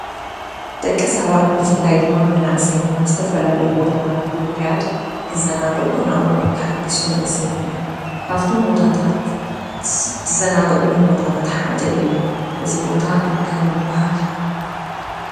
ደቂ ሰባት ብፍላይ ድማ መናእሰይ ናብ ዝተፈላለዩ ቦታታት ብምኽያድ ክዘናግዑን ኣእምሮኦም ከሐድሱን ንዕዘብ ኢና። ካፍቶም ቦታታት ዝዘናግዕሎም ቦታታት ሓደ እዩ። እዚ ቦታ እንታይ ይብሃል?